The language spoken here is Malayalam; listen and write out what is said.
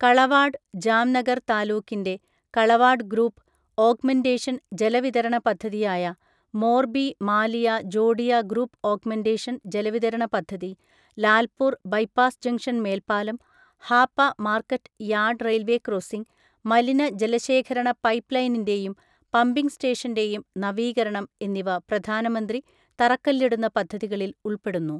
കളവാഡ് ജാംനഗർ താലൂക്കിന്റെ കളവാഡ് ഗ്രൂപ്പ് ഓഗ്മെന്റേഷൻ ജലവിതരണ പദ്ധതിയായ മോർബി മാലിയ ജോഡിയ ഗ്രൂപ്പ് ഓഗ്മെന്റേഷൻ ജലവിതരണ പദ്ധതി, ലാൽപൂർ ബൈപാസ് ജങ്ഷൻ മേൽപ്പാലം, Hapa market yard railway crossing, മലിനജലശേഖരണ പൈപ്പ് ലൈനിന്റെയും പമ്പിങ് സ്റ്റേഷന്റെയും നവീകരണം എന്നിവ പ്രധാനമന്ത്രി തറക്കല്ലിടുന്ന പദ്ധതികളിൽ ഉൾപ്പെടുന്നു.